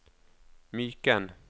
Myken